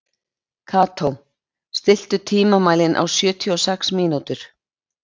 Kató, stilltu tímamælinn á sjötíu og sex mínútur.